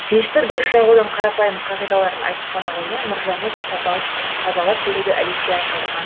пешті дұрыс жағудың қарапайым қағидаларын айтып қана қоймай мұржаны да тазалап беруді әдетке айналдырған